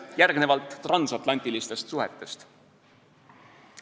Järgnevalt transatlantilistest suhetest.